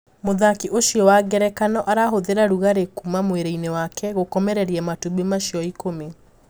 muthaki ucio wa ngerekano arahũthira rúgarĩ kuuma mwiriini wake gũkomereria matumbĩ macio ikũmi.